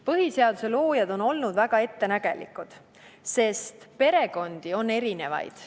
Põhiseaduse loojad olid väga ettenägelikud, sest perekondi on erinevaid.